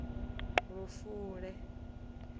lufule